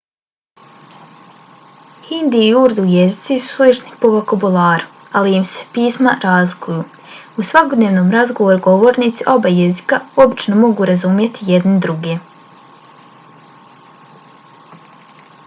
hindi i urdu jezici su slični po vokabularu ali im se pisma razlikuju; u svakodnevnom razgovoru govornici oba jezika obično mogu razumjeti jedni druge